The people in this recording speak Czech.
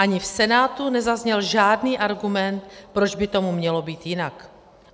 Ani v Senátu nezazněl žádný argument, proč by tomu mělo být jinak.